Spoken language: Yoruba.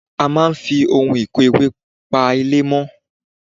A máa ń fi ohun ìkó ewé pa ilẹ̀ mọ́